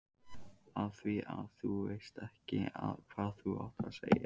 Afþvíað þú veist ekki hvað þú átt að segja.